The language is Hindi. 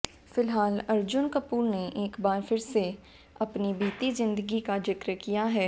फिलहाल अर्जुन कपूर ने एक बार फिर से अपनी बीती जिंदगी का जिक्र किया है